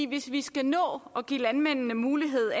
hvis vi skal nå at give landmændene mulighed